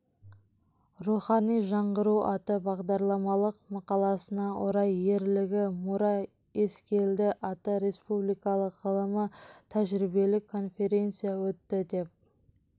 рухани жаңғыру атты бағдарламалық мақаласына орай ерлігі мұра ескелді атты республикалық ғылыми-тәжірибелік конференция өтті деп